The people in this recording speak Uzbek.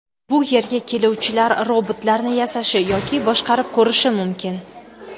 Bu yerga keluvchilar robotlarni yasashi yoki boshqarib ko‘rishi mumkin.